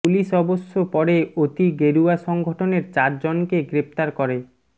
police অবশ্য পরে অতি গেরুয়া সংগঠনের চার জনকে গ্রেফতার করে